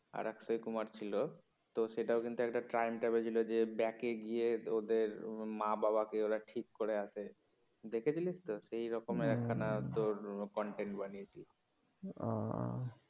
আর অক্ষয় কুমার ছিল তো সেটাও কিন্তু একটা time travel ছিল যে বেকে গিয়ে ওদের মা বাবা কে ওরা ঠিক করে আসে দেখেছিলিস তো, সেরকম একখানা তোর content বানিয়েছে ও